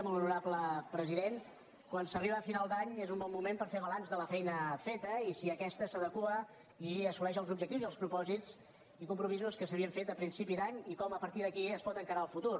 molt honorable presi·dent quan s’arriba a final d’any és un bon moment per fer balanç de la feina feta i si aquesta s’adequa i as·soleix els objectius i els propòsits i compromisos que s’havien fet a principi d’any i com a partir d’aquí es pot encarar el futur